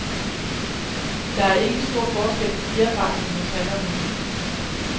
Der er ikke stor forskel på fjerdragten hos han og hun.